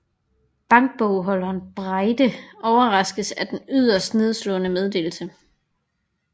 Bankbogholder Breide overraskes af en yderst nedslående meddelelse